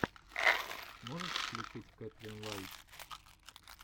можешь включить кэтлин лайтс